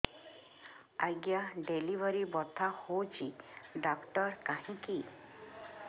ଆଜ୍ଞା ଡେଲିଭରି ବଥା ହଉଚି ଡାକ୍ତର କାହିଁ କି